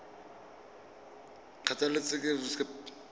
kgotlatshekelo